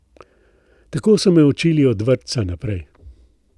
Tako so me učili od vrtca naprej.